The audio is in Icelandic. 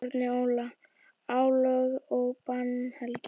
Árni Óla: Álög og bannhelgi.